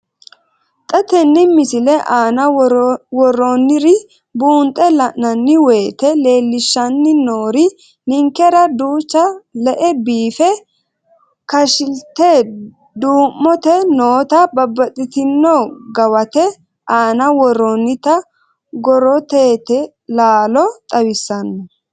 Xa tenne missile aana worroonniri buunxe la'nanni woyiite leellishshanni noori ninkera duucha le'e biiffe kashi'lite duu'mote noota babbaxxitino gawate aana worroonnita gorootete laalo xawissanno.